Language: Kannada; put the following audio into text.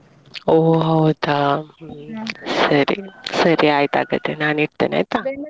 ಹೊ ಹೌದಾ ಸರಿ ಸರಿ ಆಯ್ತ್ ಹಾಗಾದ್ರೆ ನಾನ್ ಇಡ್ತೇನೆ ಆಯ್ತಾ.